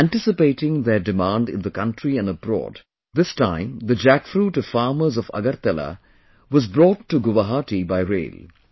Anticipating their demand in the country and abroad, this time the jackfruit of farmers of Agartala was brought to Guwahati by rail